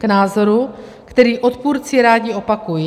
K názoru, který odpůrci rádi opakují.